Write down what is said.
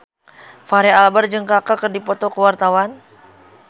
Fachri Albar jeung Kaka keur dipoto ku wartawan